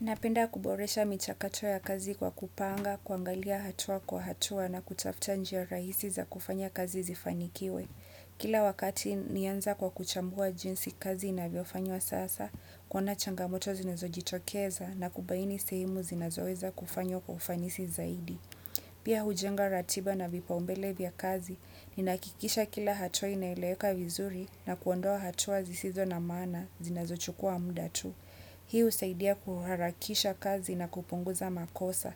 Napenda kuboresha michakato ya kazi kwa kupanga, kuangalia hatua kwa hatua na kutafuta njia rahisi za kufanya kazi zifanikiwe. Kila wakati naanza kwa kuchambua jinsi kazi inavyo fanywa sasa, kuona changamoto zinazo jitokeza na kubaini sehemu zinezoweza kufanywa kufanisi zaidi. Pia hujenga ratiba na vipaumbele vya kazi, ninahakikisha kila hatua inaeleweka vizuri na kuondoa hatua zisizo na maana zinazo chukua muda tu. Hii husaidia kuharakisha kazi na kupunguza makosa.